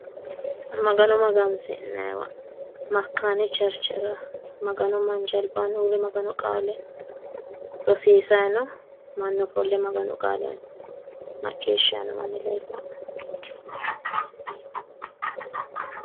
Magano magansi'nayiiwa makaaani cherechera maganu manchi albaanni uurre maganu qaale rosisaayi no mannu ofolle maganu qaale maccishshayi no manni leella"e.